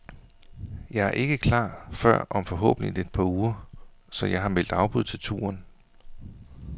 Jeg er ikke klar før om forhåbentlig et par uger, så jeg har meldt afbud til turen.